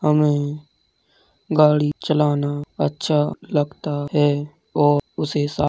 हमें गाड़ी चलाना अच्छा लगता है और उसे साफ़ --